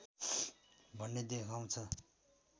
भन्ने देखाउँछ